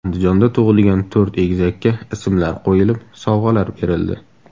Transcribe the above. Andijonda tug‘ilgan to‘rt egizakka ismlar qo‘yilib, sovg‘alar berildi.